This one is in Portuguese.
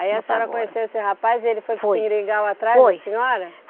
Aí a senhora conheceu esse rapaz e ele foi para o seringal atrás da senhora? Foi